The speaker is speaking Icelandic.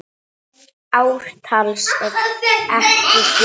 Ártals er ekki getið.